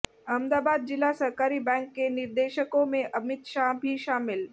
अहमदाबाद जिला सहकारी बैंक के निदेशकों में अमित शाह भी शामिल